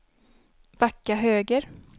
backa höger